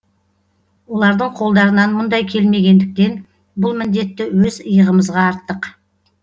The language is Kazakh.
олардың қолдарынан мұндай келмегендіктен бұл міндетті өз иығымызға арттық